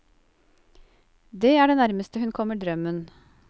Det er det nærmeste hun kommer drømmen.